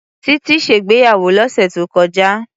Tití ṣègbéyàwó lọ́sẹ̀ tó kọjá.